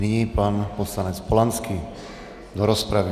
Nyní pan poslanec Polanský do rozpravy.